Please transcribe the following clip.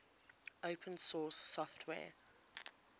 open source software